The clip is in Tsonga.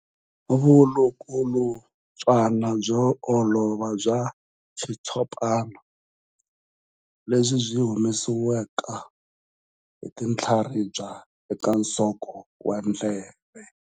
Vulukulutswana byo olova bya xitshopana lebyi byi humesiwaka hi tinhlaribya eka nsoko wa ndleve.